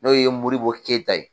N'o ye MORIBO KEYITA ye.